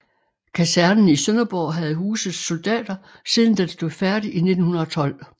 Kasernen i Sønderborg havde huset soldater siden den stod færdig i 1912